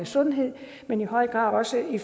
sundhed men i høj grad også i